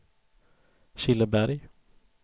Killeberg